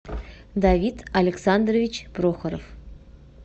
давид александрович прохоров